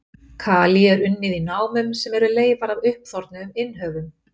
Kalí er unnið í námum sem eru leifar af uppþornuðum innhöfum.